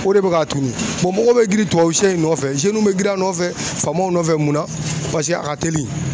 O de bɛ ka tunu mɔgɔw bɛ girin tubabu sɛ in nɔfɛ bɛ girin a nɔfɛ, faamaw nɔfɛ mun na paseke a ka teli